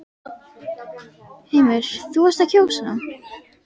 Heimir: Þú varst að kjósa?